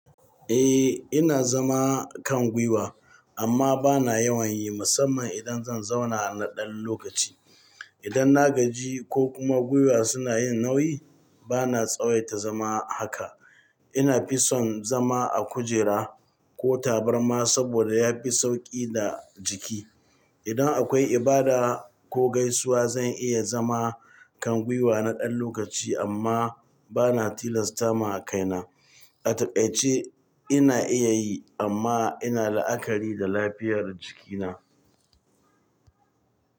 Eh, ina zama kan gwiwa amma bana yawan yi musamman idan zan zauna na ɗan lokaci. Idan na gaji ko kuma gwiwa suna yin nauyi bana tsawaita zama haka. Ina fi son zama a kujera ko tabarma saboda yafi sauƙi ga jiki. Idan akwai ibada ko gaisuwa zan iya zama kan gwiwa na ɗan lokaci amma bana tilasta ma kaina. A taƙaice ina iya yi amma ina la'akari da lafiyar jikina.